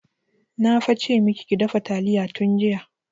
Na fa ce maki ki dafa taliya tun jiya!